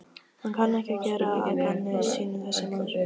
Hann kann ekki að gera að gamni sínu þessi maður.